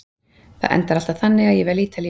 Það endar alltaf þannig að ég vel Ítalíu.